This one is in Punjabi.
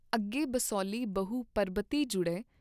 ਅਗੇ ਬਸੋਹਲੀ ਬਹੁ ਪਰਬਤੀ ਜੁੜੇ।